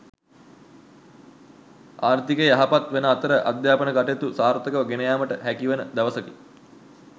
ආර්ථිකය යහපත් වන අතර අධ්‍යාපන කටයුතු සාර්ථකව ගෙනයාමට හැකිවන දවසකි.